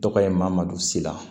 Tɔgɔ ye mamadu sia